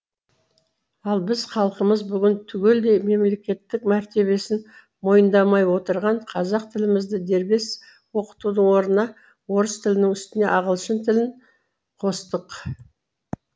ал біз халқымыз бүгін түгелдей мемлекеттік мәртебесін мойындамай отырған қазақ тілімізді дербес оқытудың орнына орыс тілінің үстіне ағылшын тілін қостық